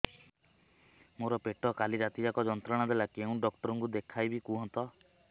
ମୋର ପେଟ କାଲି ରାତି ଯାକ ଯନ୍ତ୍ରଣା ଦେଲା କେଉଁ ଡକ୍ଟର ଙ୍କୁ ଦେଖାଇବି କୁହନ୍ତ